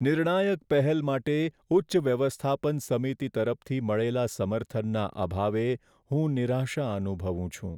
નિર્ણાયક પહેલ માટે ઉચ્ચ વ્યવસ્થાપન સમિતિ તરફથી મળેલા સમર્થનના અભાવે હું નિરાશા અનુભવું છું.